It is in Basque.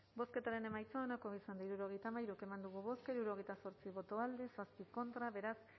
bozketaren emaitza onako izan da hirurogeita hamairu eman dugu bozka hirurogeita zortzi boto alde siete contra beraz